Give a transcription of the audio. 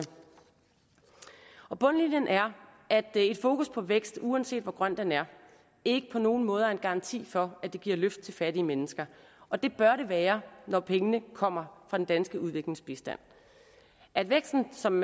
bundlinjen er at et fokus på vækst uanset hvor grøn den er ikke på nogen måder er en garanti for at det giver løft til fattige mennesker og det bør det være når pengene kommer fra den danske udviklingsbistand at væksten som